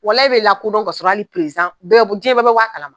Walaye e be lakodɔn k'a sɔrɔ ali perezan bɛɛ be jɛn bɛɛ be bɔ a kala ma